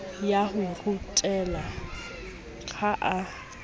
ya ho rutela ha a